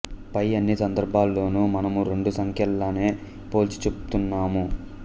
పై అన్ని సందర్భాలలోనూ మనము రెండు సంఖ్యలనే పోల్చి చూపుతున్నాము